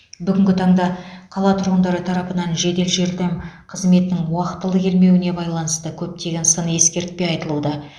бүгінгі таңда қала тұрғындары тарапынан жедел жәрдем қызметінің уақтылы келмеуіне байланысты көптеген сын ескертпе айтылуда